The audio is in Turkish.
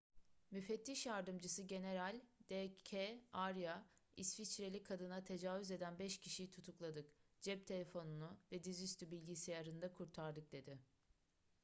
müfettiş yardımcısı general d k arya i̇sviçreli kadına tecavüz eden 5 kişiyi tutukladık cep telefonunu ve dizüstü bilgisayarını da kurtardık dedi